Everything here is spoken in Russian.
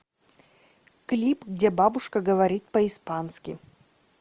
клип где бабушка говорит по испански